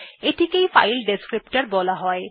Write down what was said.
এটিকে file descriptor বলা হয়